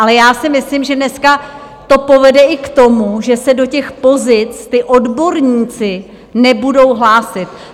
Ale já si myslím, že dneska to povede i k tomu, že se do těch pozic ti odborníci nebudou hlásit.